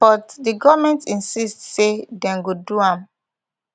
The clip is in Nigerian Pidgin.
but di goment insist say dem go do am